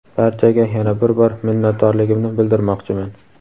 Barchaga yana bir bor minnatdorligimni bildirmoqchiman.